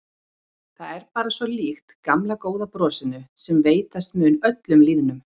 Það er bara svo líkt gamla góða brosinu sem veitast mun öllum lýðnum.